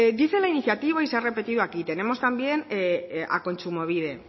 dice en la iniciativa y se ha repetido aquí tenemos también a kontsumobide